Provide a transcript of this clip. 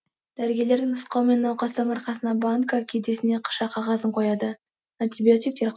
дәрігерлердің нұсқауымен науқастың арқасына банка кеудесіне қыша қағазын қояды антибиотиктер